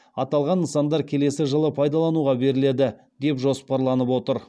аталған нысандар келесі жылы пайдалануға беріледі деп жоспарланып отыр